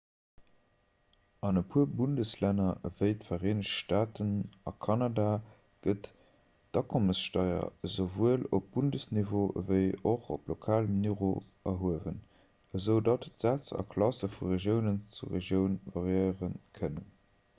an e puer bundeslänner ewéi d'vereenegt staaten a kanada gëtt d'akommessteier esouwuel op bundesniveau ewéi och op lokalem niveau erhuewen esoudatt d'sätz a klasse vu regioun zu regioun variéiere kënnen